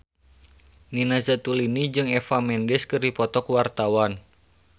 Nina Zatulini jeung Eva Mendes keur dipoto ku wartawan